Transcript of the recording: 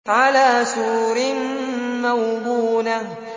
عَلَىٰ سُرُرٍ مَّوْضُونَةٍ